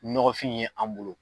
Nɔgɔnfin ye an bolo